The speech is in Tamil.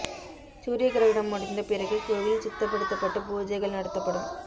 சூரிய கிரகணம் முடிந்த பிறகு கோவில் சுத்தப்படுத்தப்பட்டு பூஜைகள் நடத்தப்படும்